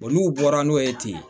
O n'u bɔra n'o ye ten